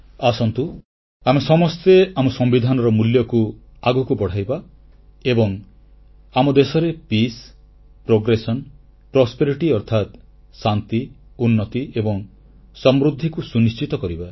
ଆସନ୍ତୁ ଆମେ ସମସ୍ତେ ଆମ ସମ୍ବିଧାନର ମୂଲ୍ୟବୋଧକୁ ଆଗକୁ ବଢ଼ାଇବା ଏବଂ ଆମ ଦେଶରେ ଶାନ୍ତି ପ୍ରଗତି ଏବଂ ସମୃଦ୍ଧିକୁ ସୁନିଶ୍ଚିତ କରିବା